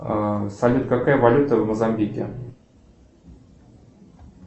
салют какая валюта в мозамбике